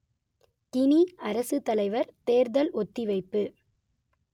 Guinea அரசுத்தலைவர் தேர்தல் ஒத்திவைப்பு